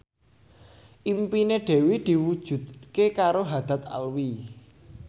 impine Dewi diwujudke karo Haddad Alwi